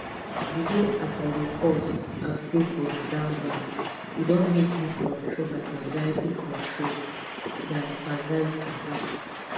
you know as i dey pause and stay for the nownow e don make me control my anxiety control my anxiety more